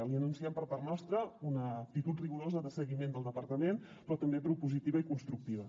li anunciem per part nostra una actitud rigorosa de seguiment del departament però també propositiva i constructiva